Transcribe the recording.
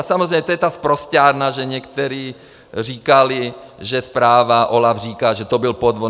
A samozřejmě to je ta sprosťárna, že někteří říkali, že zpráva OLAFu říká, že to byl podvod.